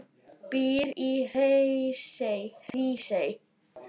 en býr í Hrísey.